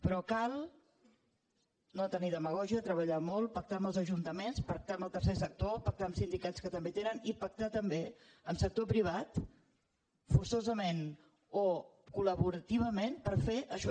però cal no tenir demagògia treballar molt pactar amb els ajuntaments pactar amb el tercer sector pactar amb sindicats que també tenen i pactar també amb sector privat forçosament o collaborativament per fer això